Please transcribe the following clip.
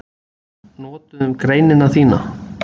Notuðum greinina þína